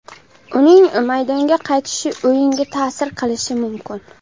Uning maydonga qaytishi o‘yinga ta’sir qilishi mumkin.